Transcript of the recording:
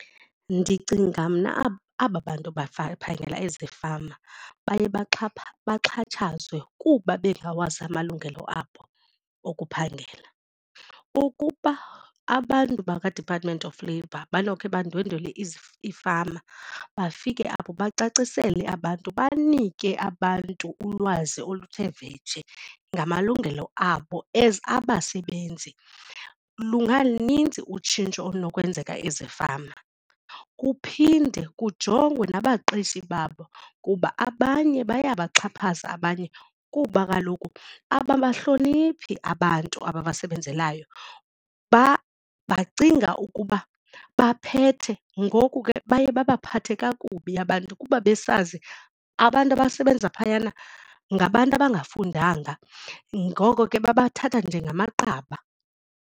Ndicinga mna aba bantu phangela ezifama baye baxhatshazwe kuba bengawazi amalungelo abo okuphangela. Ukuba abantu bakwaDepartment of Labor banokhe bandwendwele iifama bafike apho bacacisele abantu banike abantu ulwazi oluthe vetshe ngamalungelo abo as abasebenzi lungalunintsi utshintsho olunokwenzeka ezifama. Kuphinde kujongwe nabaqeshi babo kuba abanye bayabaxhaphaza abanye kuba kaloku ababahloniphi abantu abasebenzelayo bacinga ukuba baphethe ngoku ke baye babaphathe kakubi abantu kuba besazi abantu abasebenza phayana ngabantu abangafundanga. Ngoko ke babethatha njengamaqaba.